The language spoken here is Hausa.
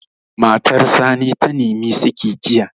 Matar Sani ta nimi saƙi jiya